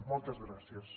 moltes gràcies